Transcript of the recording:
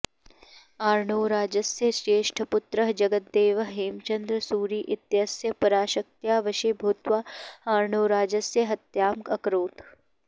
अर्णोराजस्य ज्येष्ठपुत्रः जगद्देवः हेमचन्द्र सूरि इत्यस्य पराशक्त्या वशे भूत्वा अर्णोराजस्य हत्याम् अकरोत्